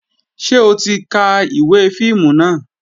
Ṣé o ti ka ìwé fíìmù náà?